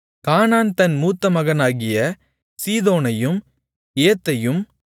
கானான் தன் மூத்தமகனாகிய சீதோனையும் ஏத்தையும்